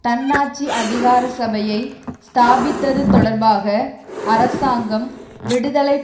தன்னாட்சி அதிகாரசபையை ஸ்தாபிப்பது தொடர்பாக அரசாங்கம் விடுதலை